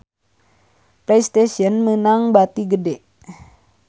Playstation meunang bati gede